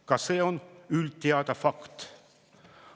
Ka see on üldteada fakt.